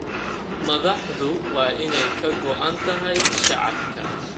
Madaxdu waa in ay ka go�an tahay shacabka.